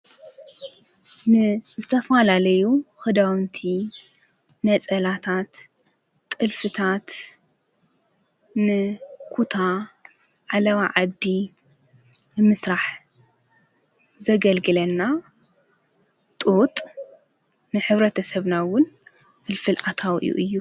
ን ዘተፋላለዩ ኽዳንቲ ነጸላታት ጥልፍታት ንኹታ ዓለዋ ዓዲ ንምሥራሕ ዘገልግለና ጥጥ ንኅብረት ተሰብናውን ፍልፍል ኣታው እዩ።